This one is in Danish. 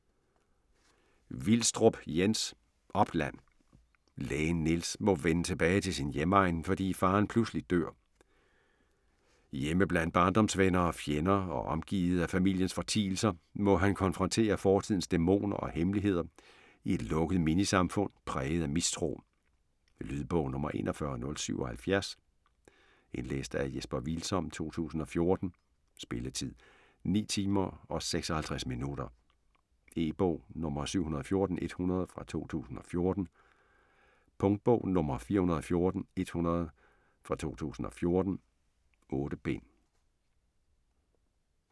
Vilstrup, Jens: Opland Lægen Niels må vende tilbage til sin hjemegn, fordi faderen pludselig dør. Hjemme blandt barndomsvenner og -fjender og omgivet af familiens fortielser, må han konfrontere fortidens dæmoner og hemmeligheder i et lukket minisamfund præget af mistro. Lydbog 41077 Indlæst af Jesper Hvilsom, 2014. Spilletid: 9 timer, 56 minutter. E-bog 714100 2014. Punktbog 414100 2014. 8 bind.